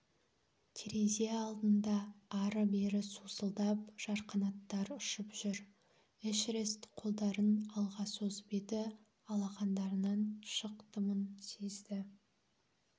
терезе алдында ары-бері сусылдап жарқанаттар ұшып жүр эшерест қолдарын алға созып еді алақандарынан шық дымын сезді